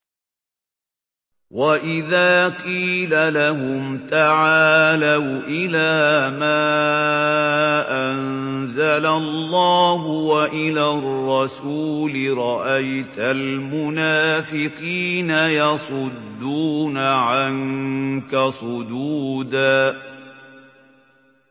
وَإِذَا قِيلَ لَهُمْ تَعَالَوْا إِلَىٰ مَا أَنزَلَ اللَّهُ وَإِلَى الرَّسُولِ رَأَيْتَ الْمُنَافِقِينَ يَصُدُّونَ عَنكَ صُدُودًا